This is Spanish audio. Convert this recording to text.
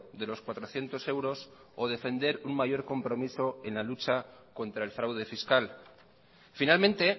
de los cuatrocientos euros o defender un mayor compromiso en la lucha contra el fraude fiscal finalmente